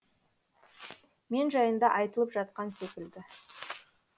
мен жайында айтылып жатқан секілді